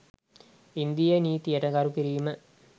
ඉන්දීය නීතියට ගරු කිරීම